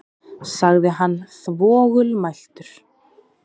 sagði hann þvoglumæltur.